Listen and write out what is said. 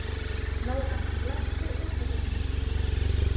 Nóra, læstu útidyrunum.